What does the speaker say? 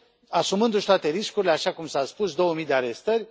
asumându și toate riscurile, așa cum s a spus, două mii de arestări.